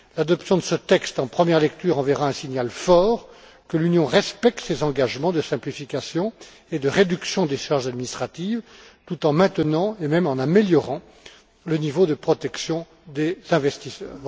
L'adoption de ce texte en première lecture enverra un signal fort que l'Union respecte ses engagements de simplification et de réduction des charges administratives tout en maintenant et même en améliorant le niveau de protection des investisseurs.